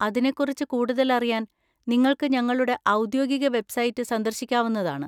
അതിനെക്കുറിച്ച് കൂടുതലറിയാൻ നിങ്ങൾക്ക് ഞങ്ങളുടെ ഔദ്യോഗിക വെബ്സൈറ്റ് സന്ദർശിക്കാവുന്നതാണ്.